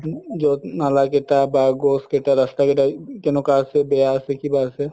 যত নালা কেইটা বা গছ কেইটা ৰাস্তা কেইটা কেনেকুৱা আছে বেয়া আছে কিবা আছে